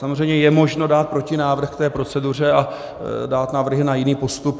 Samozřejmě je možno dát protinávrh k té proceduře a dát návrhy na jiný postup.